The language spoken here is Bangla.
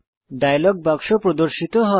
ডায়লগ বাক্স প্রদর্শিত হয়